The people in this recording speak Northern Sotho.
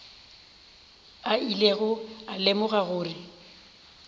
a ilego a lemoga gore